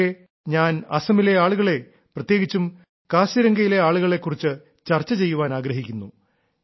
പക്ഷേ ഞാൻ അസമിലെ ആളുകളെ പ്രത്യേകിച്ചും കാസിരംഗയിലെ ആളുകളെ കുറിച്ച് ചർച്ച ചെയ്യാൻ ആഗ്രഹിക്കുന്നു